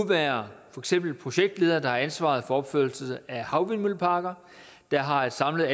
være projektledere der har ansvaret for opførelse af havvindmølleparker der har et samlet